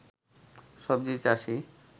সবজি চাষী